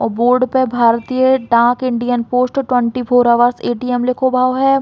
और बोर्ड पे भारतीय डाक Indian post twenty four hour ATM लिखो है।